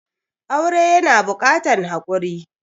Aure yana buƙatan hakuri.